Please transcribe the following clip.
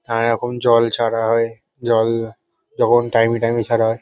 আর যখন জল ছাড়া হয় জল যখন টাইম - এ টাইম - এ ছাড়া হয় ।